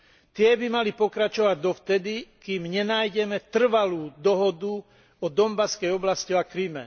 Tie by mali pokračovať dovtedy, kým nenájdeme trvalú dohodu o Dombaskej oblasti a Kryme.